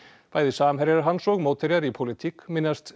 bæði samherjar hans og mótherjar í pólitík minnast